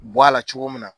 Bɔ a la cogo min na